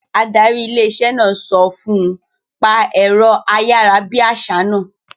Adarí ilé-iṣẹ́ náà sọ fún un; pa ẹ̀rọ ayárabíàṣá náà